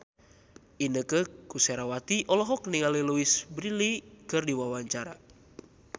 Inneke Koesherawati olohok ningali Louise Brealey keur diwawancara